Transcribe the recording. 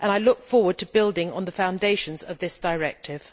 I look forward to building on the foundations of this directive.